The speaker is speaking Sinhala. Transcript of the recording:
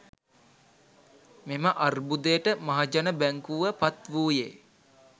මෙම අර්බුදයට මහජන බැංකුව පත්වූයේ